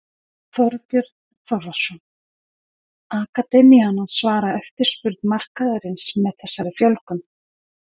Þorbjörn Þórðarson: Akademían að svara eftirspurn markaðarins með þessari fjölgun?